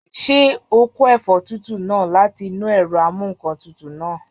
Ṣé o kó ẹ̀fọ́ tútù náà láti inú ẹ̀rọ amúǹkantutù náà?